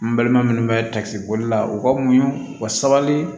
N baliman minnu bɛ takisi boli la u ka muɲu u ka sabali